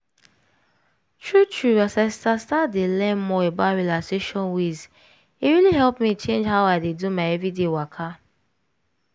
true true as i start start dey learn more about relaxation ways e really help me change how i dey do my everyday waka.